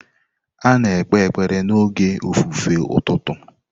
A na-ekpe ekpere n'oge ofufe ụtụtụ.